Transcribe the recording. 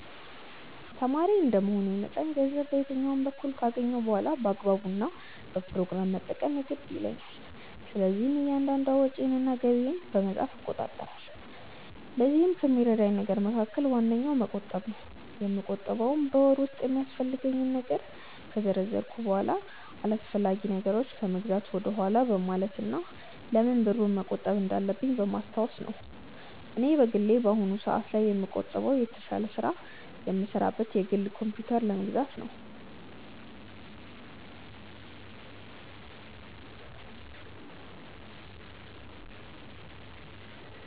ተማሪ እንደመሆኔ መጠን ገንዘብ በየትኛውም በኩል ካገኘሁ በኋላ በአግባቡ እና በፕሮግራም መጠቀም የግድ ይለኛል። ስለዚህም እያንዳንዷን ወጪዬን እና ገቢዬን በመጻፍ እቆጣጠራለሁ። ለዚህም ከሚረዳኝ ነገር መካከል ዋነኛው መቆጠብ ነው። የምቆጥበውም በወር ውስጥ የሚያስፈልገኝን ነገር ከዘረዘርኩ በኋላ አላስፈላጊ ነገሮችን ከመግዛት ወደኋላ በማለት እና ለምን ብሩን መቆጠብ እንዳለብኝ በማስታወስ ነው። እኔ በግሌ በአሁኑ ሰአት ላይ የምቆጥበው የተሻለ ስራ የምሰራበትን የግል ኮምፕዩተር ለመግዛት ነው።